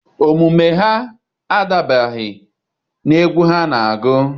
Omume ha adabaghị n'egwu ha na-agụ.